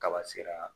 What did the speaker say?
Kaba sera